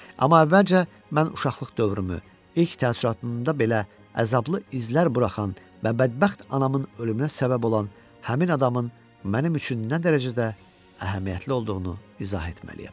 Amma əvvəlcə mən uşaqlıq dövrümü, ilk təəssüratında belə əzablı izlər buraxan və bədbəxt anamın ölümünə səbəb olan həmin adamın mənim üçün nə dərəcədə əhəmiyyətli olduğunu izah etməliyəm.